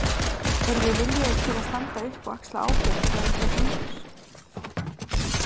Erum við viljugir til að standa upp og axla ábyrgð þegar illa gengur?